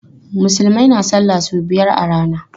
Musulmai na salla sau biyar a rana.